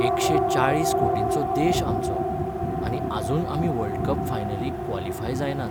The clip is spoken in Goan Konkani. एकशे चाळीस कोटिंचो देश आमचो, आनी आजून आमी वर्ल्ड कप फायनलीक क्वॉलिफाय जायनात.